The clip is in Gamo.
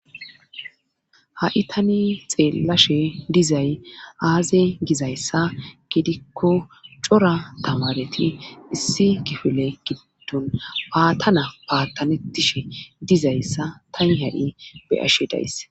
Ha7i tani xeellashe dizay aaze gizayssa gidikko cora tamareti issi gifile gidddon baatana baattanettishe dizayssa tani hadi beyashe dayss